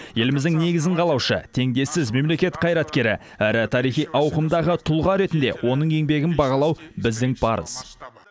еліміздің негізін қалаушы теңдессіз мемлекет қайраткері әрі тарихи ауқымдағы тұлға ретінде оның еңбегін бағалау біздің парыз